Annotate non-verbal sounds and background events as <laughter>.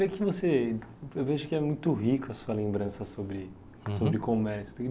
<unintelligible> que você. Eu vejo que é muito rica a sua lembrança sobre...hum.obre como era isso tudo.